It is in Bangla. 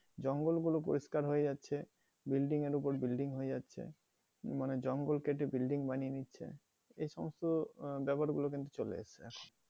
জঙ্গলগুলো পরিস্কার হয়ে যাচ্ছে, building এর অপর building হয়ে যাচ্ছে, মানে জঙ্গল কেটে building বানিয়ে নিচ্ছে। এই সমস্ত আহ ব্যাপারগুলো কিন্তু চলে এসছে।